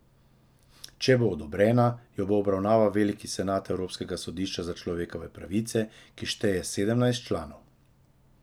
Če bo odobrena, jo bo obravnaval veliki senat evropskega sodišča za človekove pravice, ki šteje sedemnajst članov.